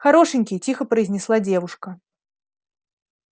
хорошенький тихо произнесла девушка